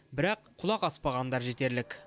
бірақ құлақ аспағандар жетерлік